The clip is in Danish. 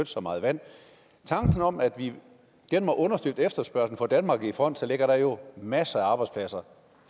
så meget vand i tanken om at vi må understøtte efterspørgslen og få danmark i front ligger der jo masser af arbejdspladser